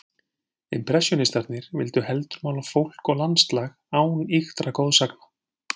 Impressjónistarnir vildu heldur mála fólk og landslag án ýktra goðsagna.